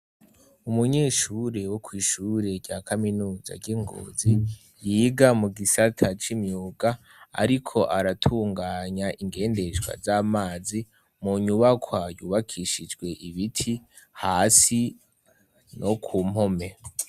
Umunyeshure wo kw'ishure rya kaminuza ry'ingozi yiga mu gisata c'imyuga, ariko aratunganya ingendeshwa z'amazi mu nyubakwa yubakishijwe ibiti hasi no ku mpome.